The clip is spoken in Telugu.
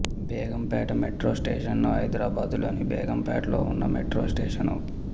బేగంపేట మెట్రో స్టేషను హైదరాబాదులోని బేగంపేటలో ఉన్న మెట్రో స్టేషను